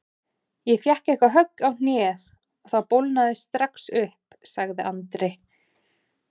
Ég fékk eitthvað högg á hnéð og það bólgnaði strax upp sagði Andri.